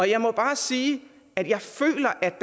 jeg må bare sige at jeg føler at